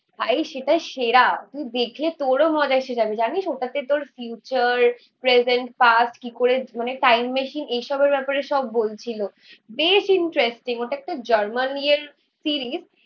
ভাই সেটা সেরা. তুই দেখলে তোরও মজা এসে যাবে. জানিস. ওটাতে তোর ফিউচার, প্রেজেন্ট পাস্ট কি করে মানে টাইম মেশিন এসবের ব্যাপারে সব বলছিল বেশ ইন্টারেস্টিং. ওটা একটা জার্মানির সিরিজ.